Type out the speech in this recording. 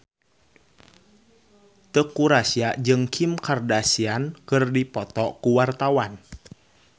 Teuku Rassya jeung Kim Kardashian keur dipoto ku wartawan